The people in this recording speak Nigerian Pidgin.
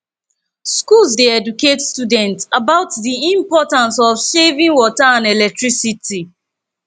schools dey educate students about the importance of saving water and electricity